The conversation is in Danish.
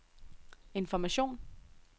information